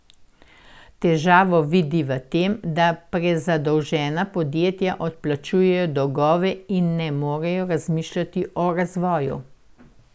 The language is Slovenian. Težavo vidi v tem, da prezadolžena podjetja odplačujejo dolgove in ne morejo razmišljati o razvoju.